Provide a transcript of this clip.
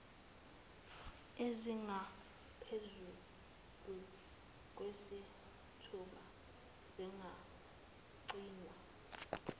ezingaphezulu kwesithupha zingagcinwa